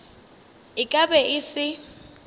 e ka be e se